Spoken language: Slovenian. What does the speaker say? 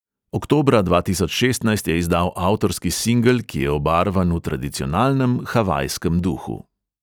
Oktobra dva tisoč šestnajst je izdal avtorski singel, ki je obarvan v tradicionalnem havajskem duhu.